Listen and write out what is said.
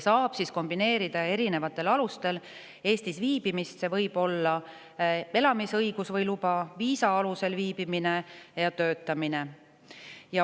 Saab kombineerida erinevatel alustel Eestis viibimist, see võib olla nii elamisõigus või -luba, viisa alusel siin viibimine kui ka töötamine.